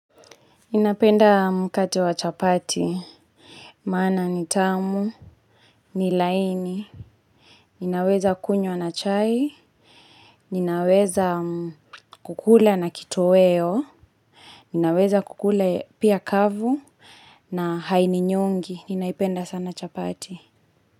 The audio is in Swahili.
Ninapenda mkate wa chapati, maana ni tamu, ni laini, ninaweza kunywa na chai, ninaweza kukula na kitoweo, ninaweza kukula pia kavu na haininyongi, ninaipenda sana chapati.